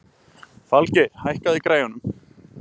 Falgeir, hækkaðu í græjunum.